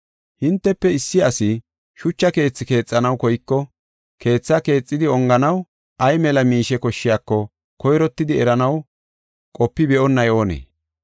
“Hintefe issi asi shucha keethi keexanaw koyko, keetha keexidi onganaw ay mela miishe koshshiyako koyrottidi eranaw qopi be7onnay oonee?